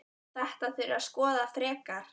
Þetta þurfi að skoða frekar.